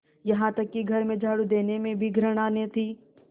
यहाँ तक कि घर में झाड़ू देने से भी घृणा न थी